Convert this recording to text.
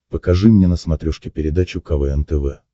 покажи мне на смотрешке передачу квн тв